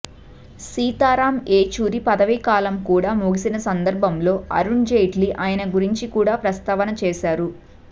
సీతారాం ఏచూరి పదవీ కాలం కూడా ముగిసిన సందర్భంలో అరుణ్జైట్లీ ఆయన గురించి కూడా ప్రస్తావన చేశారు